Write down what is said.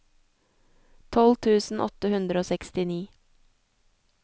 tolv tusen åtte hundre og sekstini